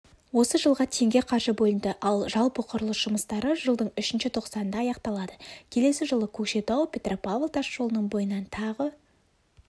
осы жылға теңге қаржы бөлінді ал жалпы құрылыс жұмыстары жылдың үшінші тоқсанында аяқталады келесі жылы көкшетау-петропавл тасжолының бойынан тағы